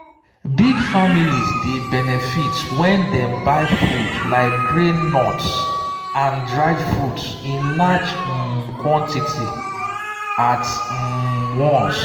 big families dey benefit when dem buy food like grains nuts and dried fruits in large um quantity at um once.